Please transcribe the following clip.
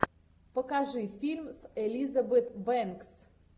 покажи фильм с элизабет бэнкс